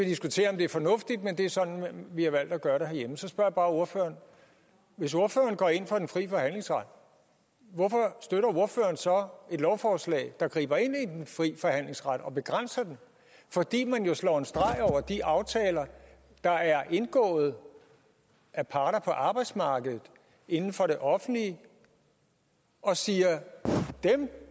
diskutere om det er fornuftigt men det er sådan vi har valgt at gøre det herhjemme så spørger jeg bare ordføreren hvis ordføreren går ind for den frie forhandlingsret hvorfor støtter ordføreren så et lovforslag der griber ind i den frie forhandlingsret og begrænser den fordi man jo slår en streg over de aftaler der er indgået af parter på arbejdsmarkedet inden for det offentlige og siger at dem